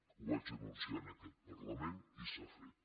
ho vaig anunciar en aquest parlament i s’ha fet